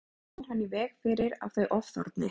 Með því kemur hann í veg fyrir að þau ofþorni.